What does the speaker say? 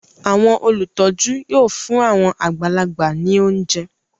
Àwọn olùtọ́jú yóò fún àwọn àgbàlagbà ní oúnjẹ